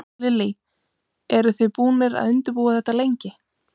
Lillý: Eru þið búnir að undirbúa þetta lengi?